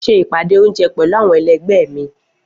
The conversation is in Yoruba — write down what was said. Mo ṣe ìpàdé oúnjẹ pẹ̀lú àwọn ẹlẹgbẹ́ mi